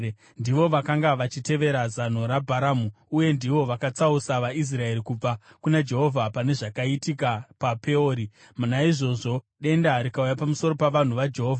Ndivo vakanga vachitevera zano raBharamu uye ndivo vakatsausa vaIsraeri kubva kuna Jehovha pane zvakaitika paPeori, naizvozvo denda rikauya pamusoro pavanhu vaJehovha.